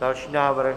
Další návrh.